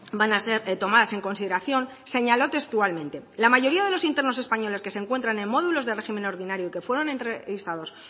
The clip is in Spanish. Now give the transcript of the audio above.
van a ser tomadas en consideración señaló textualmente la mayoría de los internos españoles que se encuentran en módulos de régimen ordinario y que fueron entrevistados